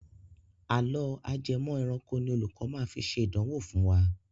Àlọ́ ajẹmọ̀ ẹranko ni olùkọ máa fi ṣe ìdánwò fún wa.